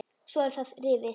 Svo var það rifið.